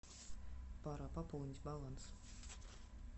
пора пополнить баланс